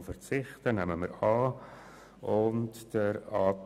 Die eigene Planungserklärung 4 nehmen wir an und auch jene der SP.